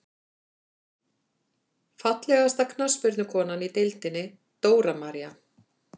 Fallegasta knattspyrnukonan í deildinni: Dóra María.